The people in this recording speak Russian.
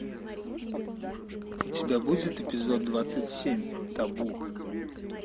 у тебя будет эпизод двадцать семь табу